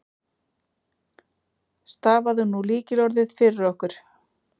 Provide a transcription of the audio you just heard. Stafaðu nú lykilorðið fyrir okkur.